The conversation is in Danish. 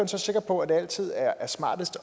så sikker på at det altid er er smartest